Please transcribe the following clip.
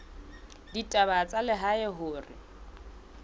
la ditaba tsa lehae hore